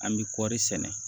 An bɛ kɔri sɛnɛ